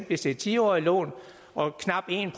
hvis det er ti årige lån og knap en